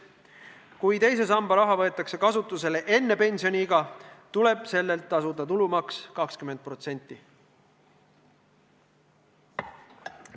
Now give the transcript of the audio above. Kui teise samba raha võetakse kasutusele enne pensioniiga, tuleb sellelt tasuda tulumaksu 20%.